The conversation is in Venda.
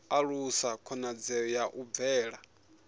alusa khonadzeo ya u bvela